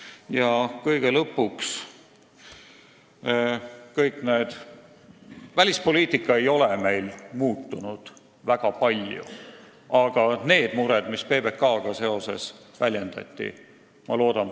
Ja kõige lõpuks: välispoliitika ei ole meil väga palju muutunud, aga ma loodan, et valitsus lahendab need mured, mida on väljendatud seoses PBK-ga.